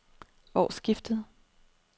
årsskiftet